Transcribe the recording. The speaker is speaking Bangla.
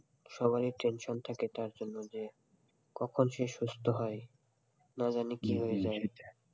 সবারই tension থাকে তার জন্য যে কখন সে সুস্থ হয় না জানি কি হয়ে যায়,